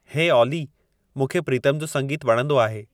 हे ऑली मूंखे प्रीतम जो संगीतु वणंदो आहे